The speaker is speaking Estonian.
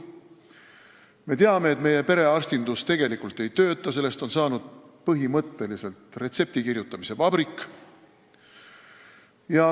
Me teame, et meie perearstindus tegelikult ei tööta, sellest on saanud põhimõtteliselt retseptikirjutamise vabrik.